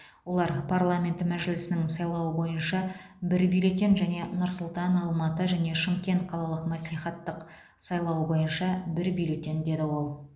олар парламент мәжілісінің сайлауы бойынша бір бюллетен және нұр сұлтан алматы және шымкент қалалық мәслихаттың сайлауы бойынша бір бюллетен деді ол